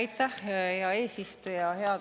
Aitäh, hea eesistuja!